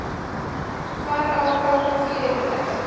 Hvar á að fá fé í þær?